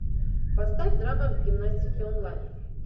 поставь драма гимнастики онлайн